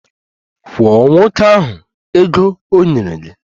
Kwụọ nwoke ahụ ego o nyere gị!